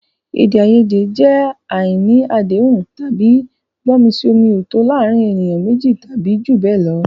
Èdè àìyedè jẹ́ àìní àdéhùn tàbí gbọ́mi-sí-omi-ò-tó o láàárín ènìyàn méjì tàbí jù bẹ́ẹ̀ lọ.